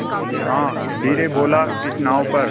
हाँ धीरे बोलो इस नाव पर